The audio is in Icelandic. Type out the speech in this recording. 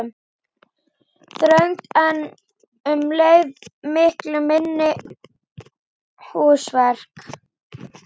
Þröngt en um leið miklu minni húsverk